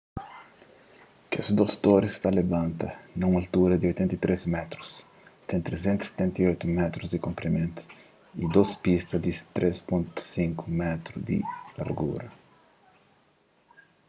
kes dôs toris ta labanta na un altura di 83 métrus ten 378 métrus di konprimentu y dôs pista di 3,50 m di largura